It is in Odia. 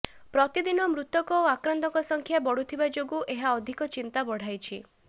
ପ୍ରତିଦିନ ମୃତକ ଓ ଆକ୍ରାନ୍ତଙ୍କ ସଂଖ୍ୟା ବଢ଼ୁଥିବା ଯୋଗୁଁ ଏହା ଅଧିକ ଚିନ୍ତା ବଢ଼ାଇଛି